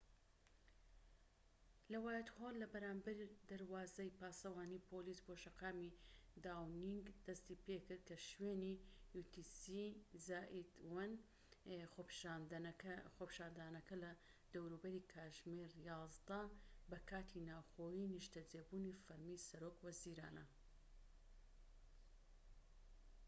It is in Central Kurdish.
خۆپیشاندانەکە لە دەوروبەری کاتژمێر 11:00 بە کاتی ناوخۆیی‎ utc+1 ‎لە وایتهۆڵ لە بەرامبەرى دەروازەی پاسەوانی پۆلیس بۆ شەقامی داونینگ دەستیپێکرد، کە شوێنی نیشتەجێبوونی فەرمی سەرۆک وەزیرانە